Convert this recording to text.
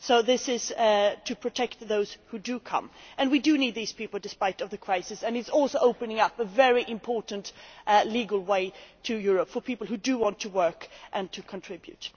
So this is to protect those who do come, and we do need these people in spite of the crisis. It also opens up a very important, legal way into Europe for people who do want to work and contribute.